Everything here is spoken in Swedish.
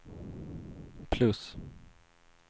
plus